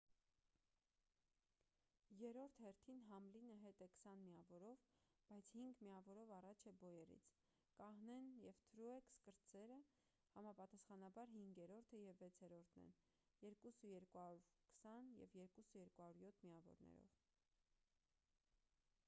երրորդ հերթին համլինը հետ է քսան միավորով բայց հինգ միավորով առաջ է բոյերից կահնեն և տրուեքս կրտսերը համապատասխանաբար հինգերորդը և վեցերորդն են 2,220 և 2,207 միավորներով